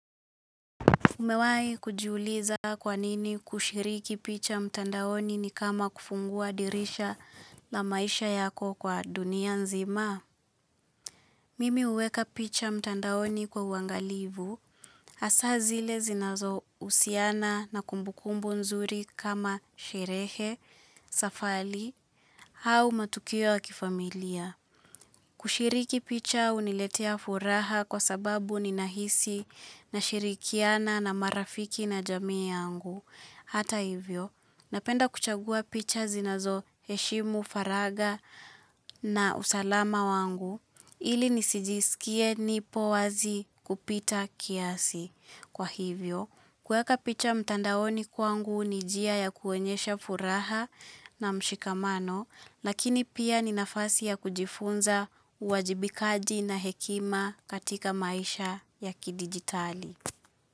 Umewahi kujiuliza kwanini kushiriki picha mtandaoni ni kama kufungua dirisha la maisha yako kwa dunia nzima? Mimi huweka picha mtandaoni kwa uangalivu, hasa zile zinazo husiana na kumbukumbu nzuri kama sherehe, safari, au matukio kifamilia. Kushiriki picha huniletea furaha kwa sababu ni nahisi na shirikiana na marafiki na jamii yangu. Hata hivyo, napenda kuchagua picha zinazo heshimu faragha na usalama wangu. Ili nisijisikie nipo wazi kupita kiasi. Kwa hivyo, kuweka picha mtandaoni kwangu ni njia ya kuonyesha furaha na mshikamano, lakini pia ni nafasi ya kujifunza uwajibikaji na hekima katika maisha ya kidigitali.